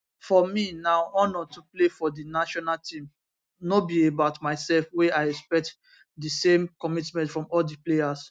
for me na honour to play for di national team no be about myself wey i expect di same commitment from all di players